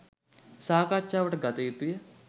සාකච්ඡාවට ගත යුතුය